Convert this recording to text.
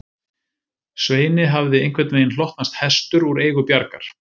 Sveini hafði einhvern veginn hlotnast hestur úr eigu Bjargar